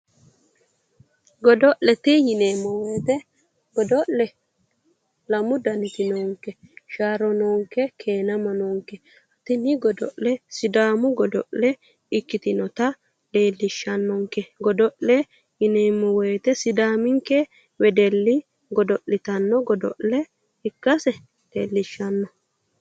Godo'lete yineemmo woyite godo'le lamu daniti noonke. Sharro noonke. Keenama noonke. Tini godo'le sidaamu godo'le ikkinota leellishshannonke. Godo'le yineemmo woyite sidaaminke wedelli godo'litanno godo'le ikkase leellishshanno.